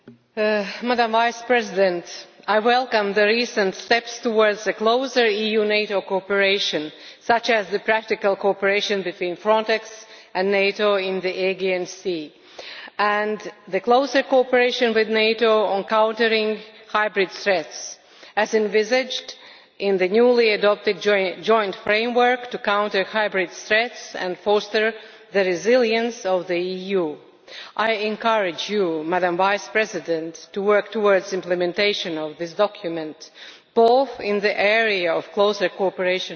Mr President, I welcome the recent steps towards a closer EU-NATO cooperation, such as the practical cooperation between Frontex and NATO in the Aegean Sea and the closer cooperation with NATO on countering hybrid threats as envisaged in the newly adopted Joint Framework to counter hybrid threats and foster the resilience of the EU'. I encourage you, Madam Vice President, to work towards the implementation of this document, both in the area of closer cooperation with NATO